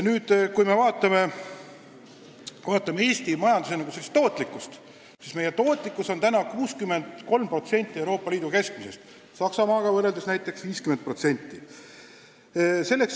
Kui me vaatame Eesti majanduse tootlikkust, siis näeme, et see moodustab 63% Euroopa Liidu keskmisest, Saksamaaga võrreldes näiteks 50%.